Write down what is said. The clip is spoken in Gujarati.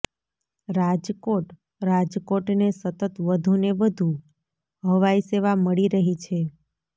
રાજકોટઃ રાજકોટને સતત વધુને વધુ હવાઇ સેવા મળી રહી છે